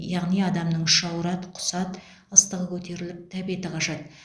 яғни адамның іші ауырады құсады ыстығы көтеріліп тәбеті қашады